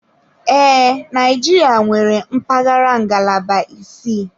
Ee, Naijiria nwere mpaghara ngalaba isii.